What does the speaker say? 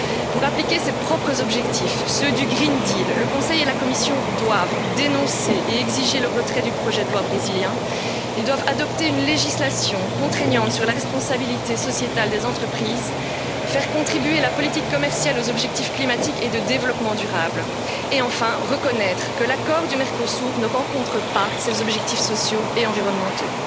Pour appliquer ses propres objectifs, ceux du pacte vert, le Conseil et la Commission doivent dénoncer et exiger le retrait du projet de loi brésilien, ils doivent adopter une législation contraignante sur la responsabilité sociétale des entreprises, faire contribuer la politique commerciale aux objectifs climatiques et de développement durable et, enfin, reconnaître que l'accord du Mercosur ne répond pas à ses objectifs sociaux et environnementaux.